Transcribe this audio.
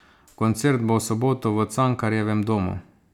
Koncert bo v soboto v Cankarjevem domu.